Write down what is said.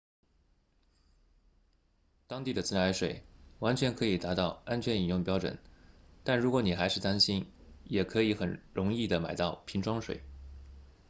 当地的自来水完全可以达到安全饮用标准但如果你还是担心也可以很容易地买到瓶装水